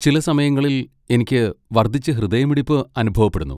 ചില സമയങ്ങളിൽ, എനിക്ക് വർദ്ധിച്ച ഹൃദയമിടിപ്പ് അനുഭവപ്പെടുന്നു.